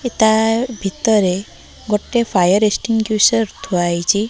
ତା ଭିତରେ ଗୋଟେ ଫାୟାର୍ ଏଷ୍ଟିନଗୁଇସର୍ ଥୁଆ ହେଇଚି ।